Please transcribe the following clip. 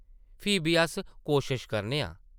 फ्ही बी अस कोशश करने आं ।